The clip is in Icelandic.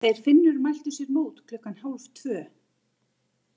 Þeir Finnur mæltu sér mót klukkan hálftvö.